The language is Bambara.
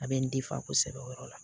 A bɛ n kosɛbɛ o yɔrɔ la